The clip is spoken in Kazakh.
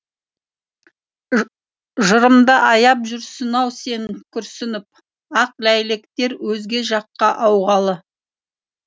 жырымды аяп жүрсің ау сен күрсініп ақ ләйлектер өзге жаққа ауғалы